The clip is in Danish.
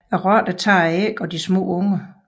Rotterne tager æggene og de små unger